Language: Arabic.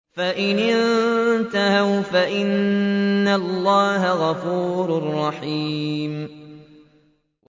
فَإِنِ انتَهَوْا فَإِنَّ اللَّهَ غَفُورٌ رَّحِيمٌ